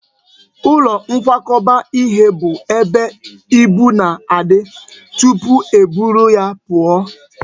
Ụlọ nkwakọba ihe bụ ebe ibu na-adị tụpụ e buru ya pụọ